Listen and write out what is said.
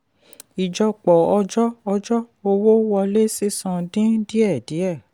ìjọpọ̀ ọjọ́ ọjọ́ owó wọlé sísan dín díẹ̀ díẹ̀.